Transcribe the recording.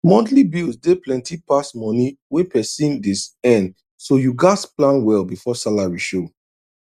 monthly bills dey plenty pass moni wey person dey earn so you gats plan well before salary show